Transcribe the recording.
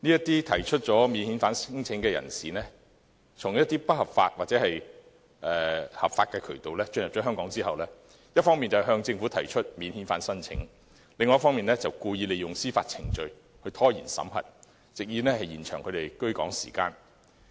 這些免遣返聲請人士從一些不合法或合法渠道進入香港後，一方面向政府提出免遣返聲請，另一方面故意利用司法程序拖延審核，藉以延長他們的居港時間。